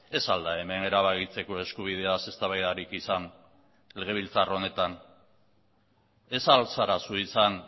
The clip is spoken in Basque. ez al da hemen erabakitzeko eskubideaz eztabaidarik izan legebiltzar honetan ez al zara zu izan